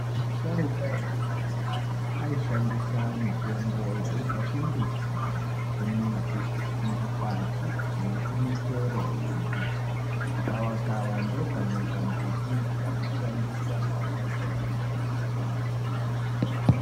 Vasharuka ekudhaya aishandisa mitombo yaibva kumbiti kumidzi kumakwati nekumichero yembuti. Gavakava ndokamwe kambuti kaishandiswa ngeasharuka ekudhara kurapa matenda.